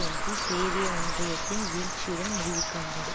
ஒன்றில் சேவிய ஒன்றியத்தின் வீழ்ச்சியுடன் முடிவுக்கு வந்தது